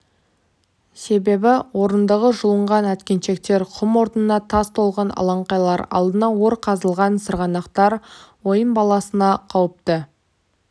себебі орындығы жұлынған әткеншектер құм орнына тас толған алаңқайлар алдына ор қазылған сырғанақтар ойын баласына қауіпті